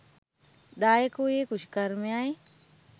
දායක වූයේ කෘෂිකර්මයයි